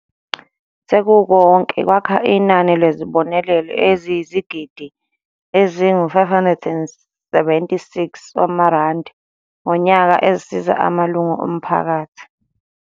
"Sekukonke kwakha inani lwezibonelelo eziyizigidi ezingama576 zamarandi ngonyaka ezisiza amalungu omphakathi."